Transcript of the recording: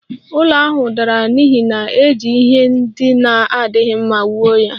Ụlọ ahụ dara n'ihi na e ji ihe ndị na-adịghị mma wuo ya